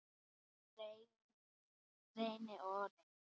Renni og renni.